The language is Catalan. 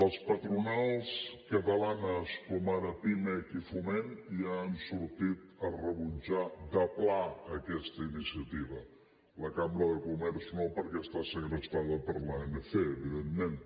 les patronals catalanes com ara pimec i foment ja han sortit a rebutjar de pla aquesta iniciativa la cambra de comerç no perquè està segrestada per l’anc evidentment